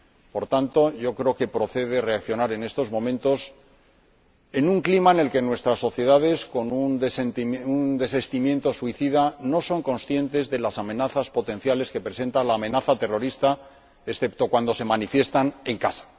Por tanto, yo creo que procede reaccionar en estos momentos, en un clima en el que nuestras sociedades, con un desistimiento suicida, no son conscientes de las amenazas potenciales que supone la amenaza terrorista, excepto cuando se manifiestan en casa.